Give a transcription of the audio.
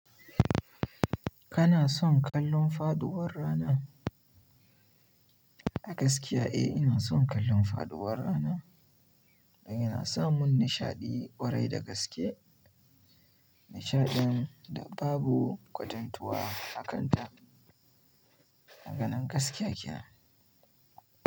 Kana son kallon faduwar rana? A gaskiya, eh, ina son kallon faduwar rana. Yana samin nishaɗi ƙwarai da gaske. Nishaɗin da babu kwatantuwa a kanta. Maganar gaskiya kenan.